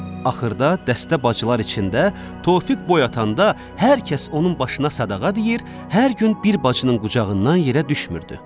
Axırda dəstə bacılar içində Tofiq boy atanda, hər kəs onun başına sadağa deyir, hər gün bir bacının qucağından yerə düşmürdü.